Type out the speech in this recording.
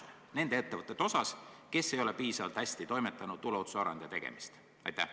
Aga see oleks kohustuslik ettevõtetes, kes ei ole piisavalt korralikult enesekontrolli tuleohutusaruandeid esitanud.